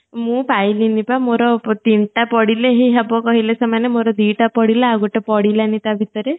ମୁଁ ପାଇଲିନି ପା ମୋର ତିନଟା ପଡିଲେ ହିଁ ହେବ କହିଲେ ସେମାନେ ମୋର ଦିଟା ପୋଡିଲା ଆଉ ଗଟେ ପଡିଲାନି ତା ଭିତରେ